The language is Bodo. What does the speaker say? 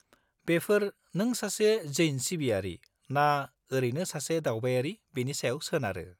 -बेफोर नों सासे जैन सिबियारि ना ओरैनो सासे दावबायारि बेनि सायाव सोनारो।